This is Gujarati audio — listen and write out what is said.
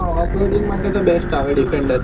off roading માટે best આવે defender